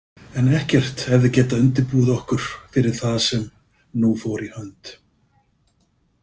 En ekkert hefði getað undirbúið okkur fyrir það sem nú fór í hönd.